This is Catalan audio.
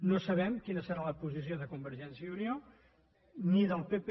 no sabem quina serà la posició de convergència i unió ni del pp